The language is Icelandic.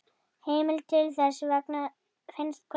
Heimild til þessa finnst hvergi.